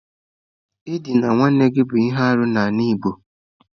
Ịdịna nwanne gị bụ ihe arụ n'ala igbo.